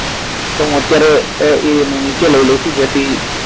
તો અત્યારે એને હું નીચે લઈ લવ છું જેથી